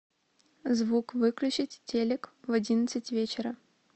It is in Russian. звук выключить телек в одиннадцать вечера